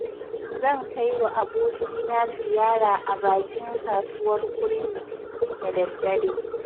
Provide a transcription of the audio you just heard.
Zan kaiwa abokina ziyara a bakin kasuwar kurmi, da daddare.